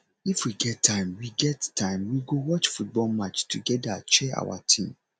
if we get time we get time we go watch football match togeda cheer our team